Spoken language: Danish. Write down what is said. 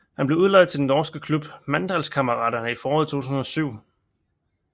Han blev udlejet til den norske klub Mandalskameratene i foråret 2007